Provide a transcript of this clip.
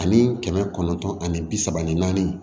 Ani kɛmɛ kɔnɔntɔn ani bi saba ani naani